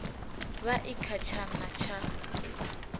vha i kha tshana tsha